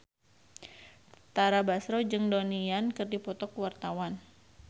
Tara Basro jeung Donnie Yan keur dipoto ku wartawan